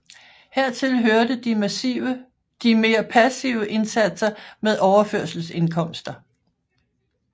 Hertil hørte de mere passive indsatser med overførselsindkomster